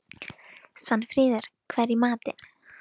Svanfríður, hvað er í matinn?